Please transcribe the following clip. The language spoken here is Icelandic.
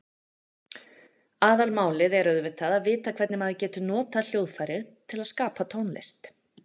Aðalmálið er auðvitað að vita hvernig maður getur notað hljóðfærið til að skapa tónlist.